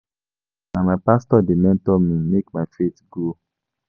Na my pastor dey mentor me make my faith grow.